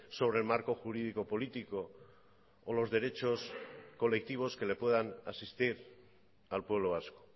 sobre el marco jurídico político o los derechos colectivos que le puedan asistir al pueblo vasco